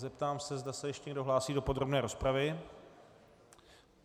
Zeptám se, zda se ještě někdo hlásí do podrobné rozpravy.